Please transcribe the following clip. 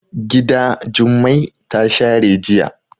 Gida Jummai ta share jiya.